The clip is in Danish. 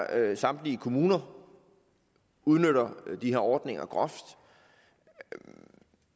at samtlige kommuner udnytter de her ordninger groft